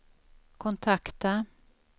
kontakta